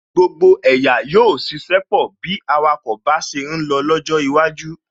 Gbogbo ẹ̀yà yóò ṣiṣẹ́ pọ̀ bí awakọ̀ bá ṣe ń lọ lọ́jọ́ iwájú